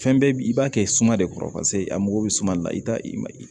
Fɛn bɛɛ bi i b'a kɛ suma de kɔrɔ paseke a mago bɛ suma de la i t'a i ma ye